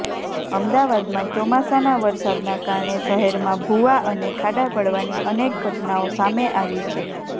અમદાવાદમાં ચોમાસાના વરસાદના કારણે શહેરમાં ભુવા અને ખાડા પડવાની અનેક ઘટનાઓ સામે આવી છે